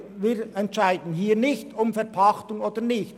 Wir entscheiden hier nicht über Verpachtung oder nicht;